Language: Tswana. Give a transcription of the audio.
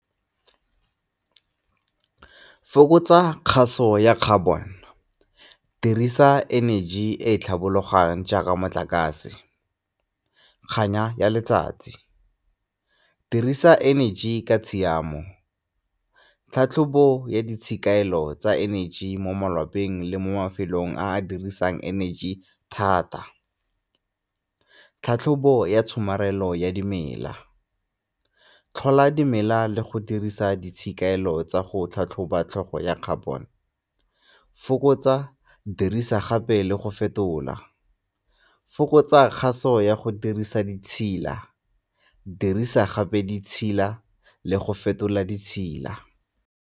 Fokotsa kgaso ya carbon, dirisa energy e tlhabologang jaaka motlakase, kganya ya letsatsi, dirisa energy ka tshiamo. Tlhatlhobo ya ditshiamelo tsa energy mo malapeng le mo mafelong a dirisang energy thata, tlhatlhobo ya tshomarelo ya dimela, tlhola dimela le go dirisa ditshikelo tsa go tlhatlhoba tlhogo ya carbon. Fokotsa, dirisa gape le go fetola, fokotsa kgaso ya go dirisa di itshila, dirisa gape di tshila le go fetola di tshila.